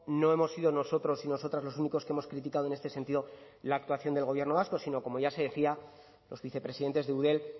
no hemos sido nosotros y nosotras los únicos que hemos criticado en este sentido la actuación del gobierno vasco sino como ya se decía los vicepresidentes de eudel